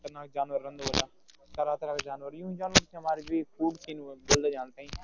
खतरनाक जानवर रेह्न्दा होला तरह तरह का जानवर युहीं जानवर थें हमारे जो ब्वलदा जांद तईं।